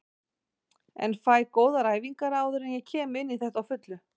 En fæ góðar æfingar áður en ég kem inní þetta á fullu.